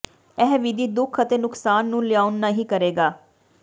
ਇਹ ਵਿਧੀ ਦੁੱਖ ਅਤੇ ਨੁਕਸਾਨ ਨੂੰ ਲਿਆਉਣ ਨਹੀ ਕਰੇਗਾ